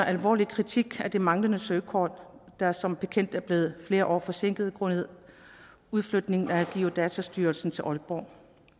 alvorlig kritik af de manglende søkort der som bekendt er blevet flere år forsinket grundet udflytningen af geodatastyrelsen til aalborg